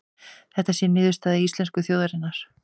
Þetta sé niðurstaða íslensku þjóðarinnar